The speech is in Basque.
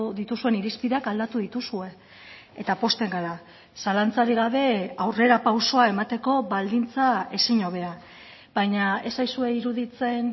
dituzuen irizpideak aldatu dituzue eta pozten gara zalantzarik gabe aurrerapausoa emateko baldintza ezinhobea baina ez zaizue iruditzen